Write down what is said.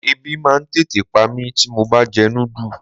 Ẹbí máa ń tètè pa mí tí mo bá jẹ núdù.